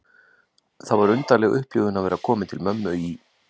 Það var undarleg upplifun að vera komin til mömmu í